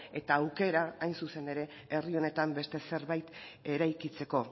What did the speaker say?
eta aukera hain zuzen ere herri honetan beste zerbait eraikitzeko